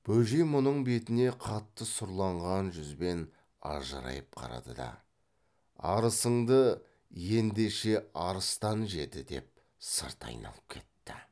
бөжей мұның бетіне қатты сұрланған жүзбен ажырайып қарады да арысыңды ендеше арыстан жеді деп сырт айналып кетті